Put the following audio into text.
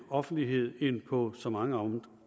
offentlighed end på så mange